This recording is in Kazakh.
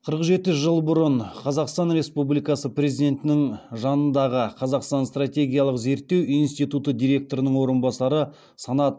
қырық жеті жыл бұрын қазақстан республикасы президентінің жанындағы қазақстан стратегиялық зерттеулер институты директорының орынбасары